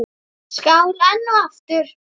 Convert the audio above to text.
Skál enn og aftur!